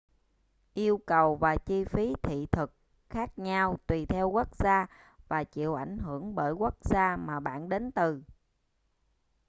yêu cầu và chi phí thị thực khác nhau tùy theo quốc gia và chịu ảnh hưởng bởi quốc gia mà bạn đến từ